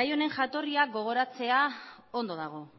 gai honen jatorria gogoratzea ondo dago